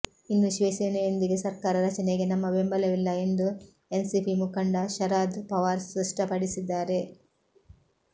ಇನ್ನು ಶಿವಸೇನೆಯೊಂದಿಗೆ ಸರ್ಕಾರ ರಚನೆಗೆ ನಮ್ಮ ಬೆಂಬಲವಿಲ್ಲ ಎಂದು ಎನ್ಸಿಪಿ ಮುಖಂಡ ಶರಾದ್ ಪವಾರ್ ಸ್ಪಷ್ಟಪಡಿಸಿದ್ದಾರೆ